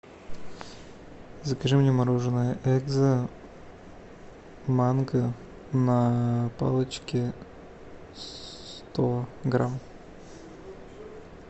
закажи мне мороженое экзо манго на палочке сто грамм